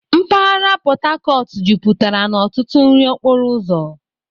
Mpaghara Port Harcourt jupụtara na ọtụtụ nri okporo ụzọ.